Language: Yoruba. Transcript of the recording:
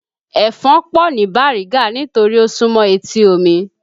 Ẹ̀fọn pọ̀ ni Bariga nítorí ó súmọ́ etí omi